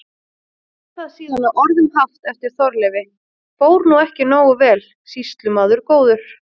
Er það síðan að orðum haft eftir Þorleifi: Fór nú ekki nógu vel, sýslumaður góður?